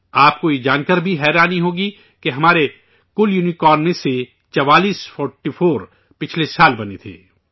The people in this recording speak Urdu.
آپ کو یہ جانکر بھی حیرانی ہوگی، کہ ہمارے کل یونیکارن میں سے 44، پچھلے سال بنے تھے